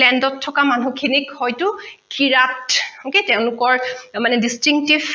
land ত থকা মানুহখিনিক হৈতো qirat নিকি তেওঁলোকৰ মানে distringtish